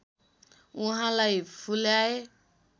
उहाँलाई फुल्याए